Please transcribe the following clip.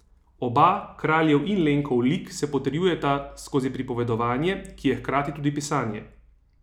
Oba, Kraljev in Lenkov lik se potrjujeta skozi pripovedovanje, ki je hkrati tudi pisanje.